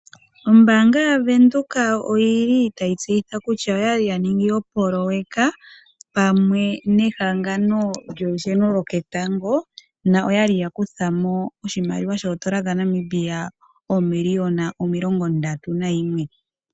Ombaanga ya Venduka oyili tayi tseyitha kutya oyali ya ningi opoloweka pamwe nehangano lyolusheno lwoketango, noyali ya kuthamo oshimaliwa shoondola dha Namibia oomiliyona omilongo ndatu nayimwe.